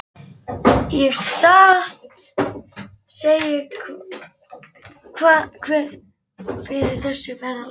Ég satt að segja kveið fyrir þessu ferðalagi.